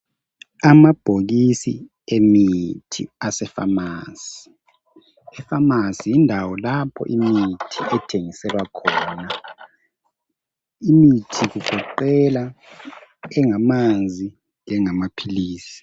Amabhokisi emithi asefamasi efamasi yindawo lapho imithi ithengiselwa khona imithi igiqela engamanzi engamaphilisi